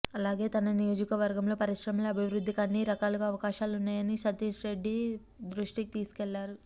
అలాగే తన నియోజకవర్గంలో పరిశ్రమల అభివృద్ధికి అన్ని రకాలుగా అవకాశాలున్నాయని సతీష్రెడ్డి దృష్టికి తీసుకెళ్లారు